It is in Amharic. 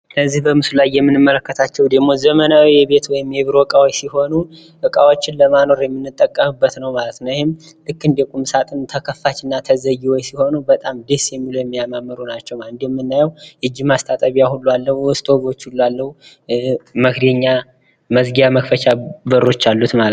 ከዚህ በምስሉ ላይ የምንመለከታቸው ደግሞ ዘመናዊ የቤት እና የቢሮ እቃዎች ሲሆኑ እቃወችን ለማኖር የምንጠቀምበት ነው። ማለት ነው። ይህም ልክ እንደቁም ሳጥን ተከፋችና ተዘጊዎች ሲሆኑ በጣም ደስ የሚሉ እና የሚያማምሩ ናቸው። እንደሚናየው የእጅ ማስታጠቢያ ሁሉ አለው። ጆግ ሁሉ አለው። መክደኛ ፣ መዚጊያ ፣ መክፈቺያ በሮች አሉት ማለት ነው።